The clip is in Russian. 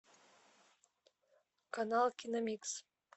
канал киномикс